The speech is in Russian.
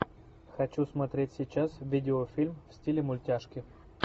хочу смотреть сейчас видеофильм в стиле мультяшки